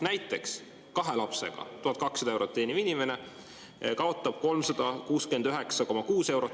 Näiteks, kahe lapsega 1200 eurot teeniv inimene kaotab 369,6 eurot.